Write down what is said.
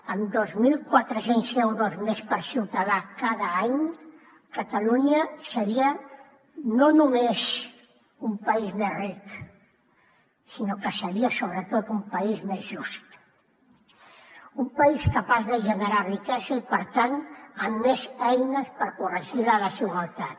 amb dos mil quatre cents euros més per ciutadà cada any catalunya seria no només un país més ric sinó que seria sobretot un país més just un país capaç de generar riquesa i per tant amb més eines per corregir la desigualtat